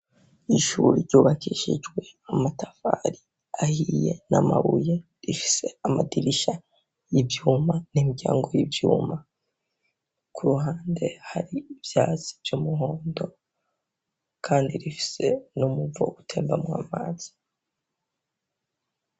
Ishure ryubakishijwe amatafari ahiye, namabuye, rifise amadirisha y'ivyuma, n'imyango y'ivyuma, kuruhande hari ivyatsi vy'umuhondo, kandi rifise n'umuvo utembamwo amazi.